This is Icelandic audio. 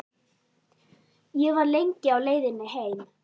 Ég var lengi á leiðinni heim.